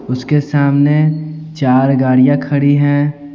उसके सामने चार गाड़ियां खड़ी हैं।